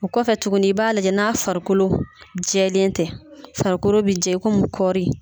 O kɔfɛ tuguni i b'a lajɛ n'a farikolo jɛlen tɛ farikolo bɛ jɛ komi kɔɔri